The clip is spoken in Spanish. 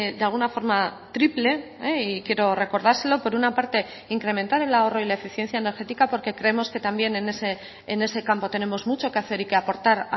de alguna forma triple y quiero recordárselo por una parte incrementar el ahorro y la eficiencia energética porque creemos que también en ese campo tenemos mucho que hacer y que aportar